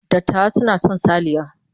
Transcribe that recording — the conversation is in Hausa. Dattawa suna son salliya.